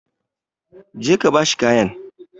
Go and give him the cloth!